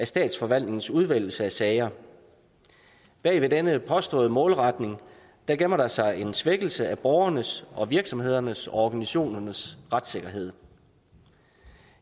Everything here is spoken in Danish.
statsforvaltningens udvælgelse af sager bag ved denne påståede målretning gemmer der sig en svækkelse af borgernes og virksomhedernes og organisationernes retssikkerhed